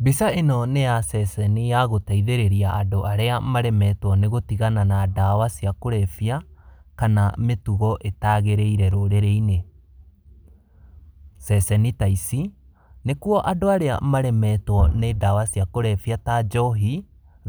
Mbica ĩno nĩ ya ceceni ya gũteithĩrĩria andũ arĩa maremetwo nĩ gũtigana na ndawa cia kũrebia, kana mĩtugo ĩtagĩrĩire rũrĩrĩ-inĩ. Ceceni ta ici, nĩkuo andũ arĩa maremetwo nĩ ndawa cia kũrebia ta njohi,